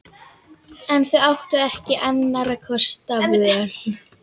En þau áttu ekki annarra kosta völ.